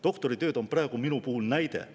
Doktoritööd on praegu mu näide.